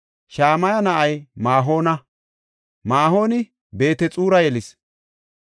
Shamaya na7ay Ma7oona. Maa7oni Beet-Xura yelis.